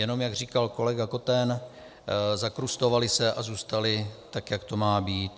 Jenom jak říkal kolega Koten, zakrustovaly se a zůstaly, tak jak to má být.